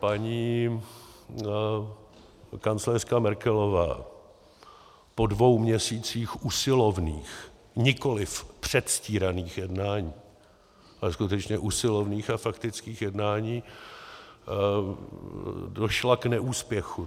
Paní kancléřka Merkelová po dvou měsících usilovných, nikoliv předstíraných jednání, ale skutečně usilovných a faktických jednání došla k neúspěchu.